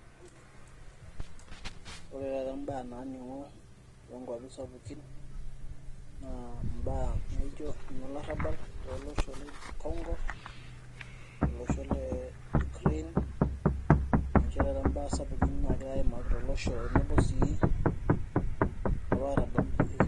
Ore taata imbaa naaning'o tookuapi sapukin naa imbaa naijio inolorabal tooloshon le kongo, Ukraine, ninche taata imbaa sapukin naagirai aaimaki tolosho tenebo sii olarabal.